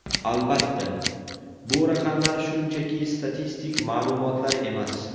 Albatta, bu raqamlar shunchaki statistik ma’lumotlar emas.